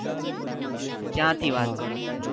ક્યાં થી વાત કરો છો